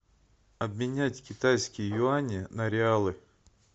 обменять китайские юани на реалы